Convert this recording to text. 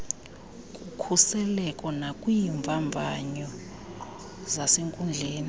kukhuseleko nakwiimvavanyo zasenkundleni